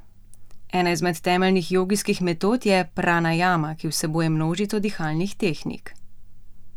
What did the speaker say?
Ena izmed temeljnih jogijskih metod je pranajama, ki vsebuje množico dihalnih tehnik.